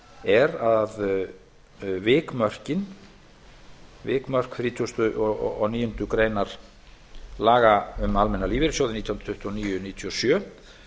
er að vikmörk þrítugasta og níundu grein laga um almenna lífeyrissjóði númer hundrað tuttugu og níu nítján hundruð níutíu og sjö